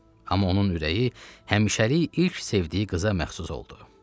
Amma onun ürəyi həmişəlik ilk sevdiyi qıza məxsus oldu.